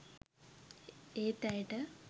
ඒත් ඇයට